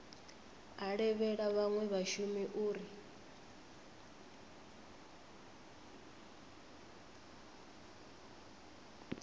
a levhela vhanwe vhashumi uri